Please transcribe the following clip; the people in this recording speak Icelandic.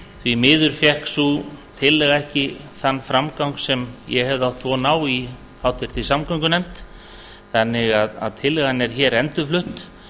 því miður fékk sú tillaga ekki þann framgang sem ég hefði átt von á í háttvirtri samgöngunefnd þannig að tillagan er hér endurflutt